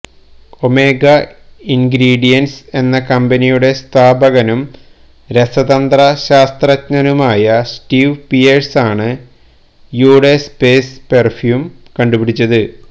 omega ingredients എന്ന കമ്പനിയുടെ സ്ഥാപകനും രസതന്ത്ര ശാസ്ത്രജ്ഞനുമായ സ്റ്റീവ് പിയേഴ്സ് ആണ് യു ഡേ സ്പേസ് പെര്ഫ്യൂം കണ്ടുപിടിച്ചത്